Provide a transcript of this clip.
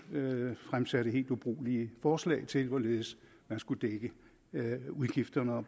fremsatte helt ubrugelige forslag til hvorledes man skulle dække udgifterne og